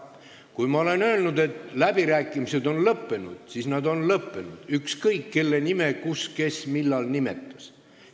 Kui ma olen öelnud, et läbirääkimised on lõppenud, siis need on lõppenud, ükskõik, kes ja kus kelle nime nimetas.